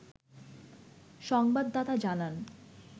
সংবাদদাতা জানান